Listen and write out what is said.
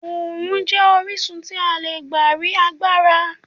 Oòrùn jẹ́ orísun tí a lè gbà rí agbára.